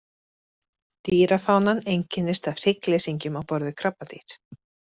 Dýrafánan einkennist af hryggleysingjum á borð við krabbadýr.